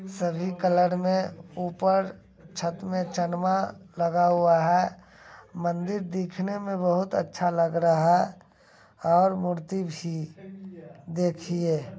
सभी कलर में ऊपर छत में चनमा लगा हुआ है। मंदिर दिखने में बहुत अच्छा लग रहा है और मूर्ति भी देखिए ।